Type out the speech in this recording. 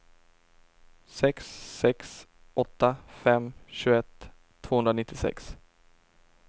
sex sex åtta fem tjugoett tvåhundranittiosex